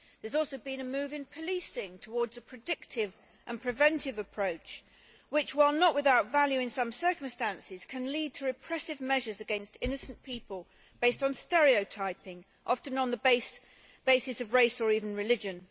There has also been a move in policing towards a predictive and preventive approach which, while not without value in some circumstances, can lead to repressive measures against innocent people based on stereotyping, often on the basis of race or even religion.